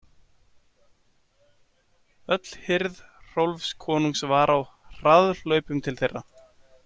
Öll hirð Hrólfs konungs var á harðahlaupum til þeirra.